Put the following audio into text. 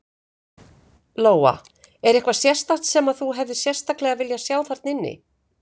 Lóa: Er eitthvað sérstakt sem að þú hefðir sérstaklega viljað sjá þarna inni?